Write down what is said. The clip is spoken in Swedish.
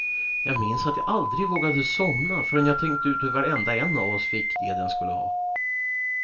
Jag minns att jag aldrig vågade somna förrän jag tänkt ut hur varenda en av oss fick det den skulle ha.